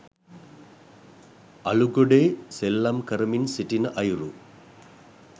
අළුගොඬේ සෙල්ලම් කරමින් සිටින අයුරු